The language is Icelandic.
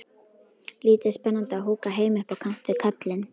Lítið spennandi að húka heima upp á kant við kallinn.